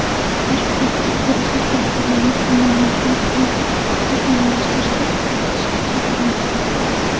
Bosh prokuratura tadbirkorlarni qonunchilikni takomillashtirishda ishtirok etishga chaqirdi.